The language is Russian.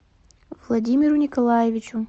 владимиру николаевичу